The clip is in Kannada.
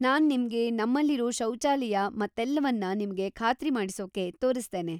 ನಾನ್‌ ನಿಮ್ಗೆ ನಮ್ಮಲಿರೋ ಶೌಚಾಲಯ ಮತ್ತೆಲ್ವನ್ನ ನಿಮ್ಗೆ ಖಾತ್ರಿ ಮಾಡಿಸೋಕ್ಕೆ ತೋರಿಸ್ತೇನೆ.